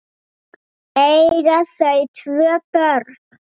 Eiga þau tvö börn.